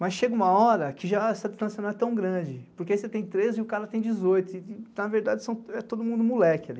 Mas chega uma hora que já essa distância não é tão grande, porque aí você tem treze e o cara tem dezoito e, na verdade, é todo mundo moleque ali.